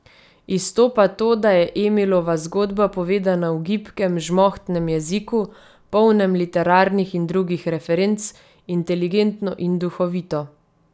Izstopa to, da je Emilova zgodba povedana v gibkem, žmohtnem jeziku, polnem literarnih in drugih referenc, inteligentno in duhovito.